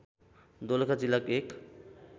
दोलखा जिल्लाको एक